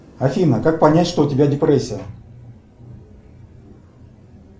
афина как понять что у тебя депрессия